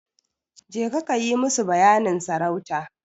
Jeka kayi musu bayanin sarauta.